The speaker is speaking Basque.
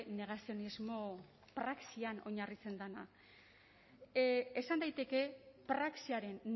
negazionismo praxian oinarritzen dena esan daiteke praxiaren